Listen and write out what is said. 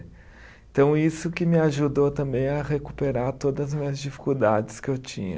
Então, isso que me ajudou também a recuperar todas as minhas dificuldades que eu tinha.